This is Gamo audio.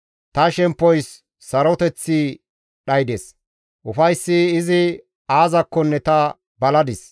Ta shemppoys saroteththi dhaydes; ufayssi izi aazakkonne ta baladis.